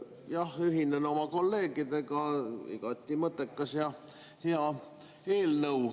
Jah, ühinen oma kolleegidega: igati mõttekas ja hea eelnõu.